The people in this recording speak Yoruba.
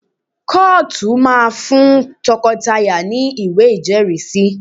Kọ́ọ̀tù máa ń fún tọkọtaya ní ìwé ìjẹ́rìísí